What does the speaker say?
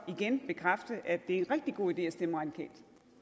igen bekræfte at det er en rigtig god idé at stemme radikalt